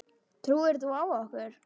Trúir þú á okkur?